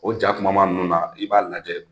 O ja kumaman ninnu na, i b'a lajɛ,